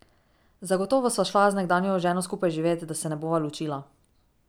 Zagotovo sva šla z nekdanjo ženo skupaj živet, da se ne bova ločila.